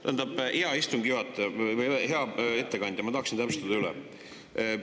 Tähendab, hea istungi juhataja või hea ettekandja, ma tahaksin täpsustada üle.